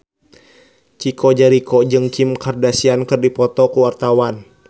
Chico Jericho jeung Kim Kardashian keur dipoto ku wartawan